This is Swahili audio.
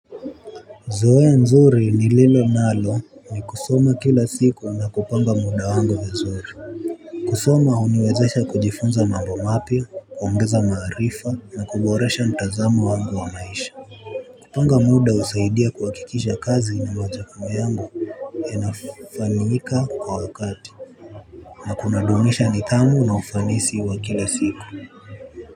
Zoea nzuri ni lilo nalo ni kusoma kila siku na kupanga muda wangu vizuri. Kusoma huniwezesha kujifunza mambo mapya, kuongeza maarifa na kuboresha mtazamo wangu wa maisha. Kupanga muda unasaidia kukamilisha kazi na majukumu yangu. Inafanyika kwa wakati. Na kunadumisha nidhamu na ufanisi wa kila siku.